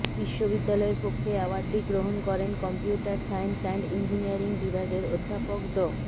বিশ্ববিদ্যালয়ের পক্ষে অ্যাওয়ার্ডটি গ্রহণ করেন কম্পিউটার সায়েন্স অ্যান্ড ইঞ্জিনিয়ারিং বিভাগের অধ্যাপক ড